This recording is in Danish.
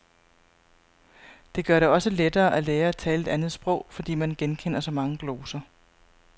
Det gør det også lettere at lære at tale et andet sprog, fordi man genkender så mange gloser.